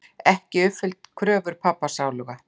Ekki uppfyllt kröfur pabba sáluga.